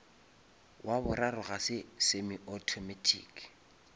wa boraro ga se semi-automatic